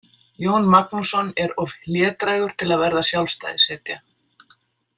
Jón Magnússon er of hlédrægur til að verða sjálfstæðishetja.